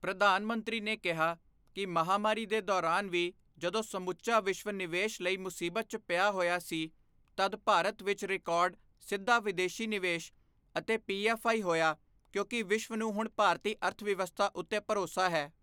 ਪ੍ਰਧਾਨ ਮੰਤਰੀ ਨੇ ਕਿਹਾ ਕਿ ਮਹਾਮਾਰੀ ਦੇ ਦੌਰਾਨ ਵੀ, ਜਦੋਂ ਸਮੁੱਚਾ ਵਿਸ਼ਵ ਨਿਵੇਸ਼ ਲਈ ਮੁਸੀਬਤ ਚ ਪਿਆ ਹੋਇਆ ਸੀ, ਤਦ ਭਾਰਤ ਵਿੱਚ ਰਿਕਾਰਡ ਸਿੱਧਾ ਵਿਦੇਸ਼ੀ ਨਿਵੇਸ਼ ਅਤੇ ਪੀਐੱਫ਼ਆਈ ਹੋਇਆ ਕਿਉਂਕਿ ਵਿਸ਼ਵ ਨੂੰ ਹੁਣ ਭਾਰਤੀ ਅਰਥਵਿਵਸਥਾ ਉੱਤੇ ਭਰੋਸਾ ਹੈ।